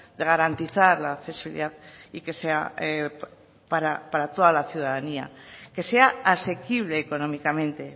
de garantizar la accesibilidad y que sea para toda la ciudadanía que sea asequible económicamente